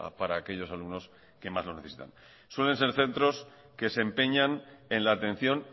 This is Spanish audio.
para aquellos alumnos que más lo necesitan suelen ser centros que se empeñan en la atención